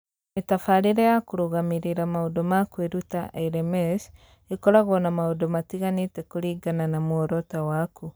Mĩtabarĩre ya kũrũgamĩrĩra maũndũ ma kwĩruta(LMS) ĩkoragwo na maũndũ matiganĩte kũringana na muoroto waku.